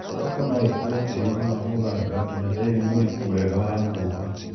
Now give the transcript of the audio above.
Thoroko noĩkũre tĩriinĩ wa mũthanga nginya tĩri mũriku wega wa ngumba